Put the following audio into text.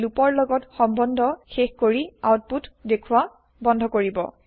ই loop ৰ লগত সম্বন্ধ শেষ কৰি আউতপুত দেখুৱা বন্ধ কৰিব